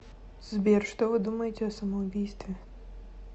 сбер что вы думаете о самоубийстве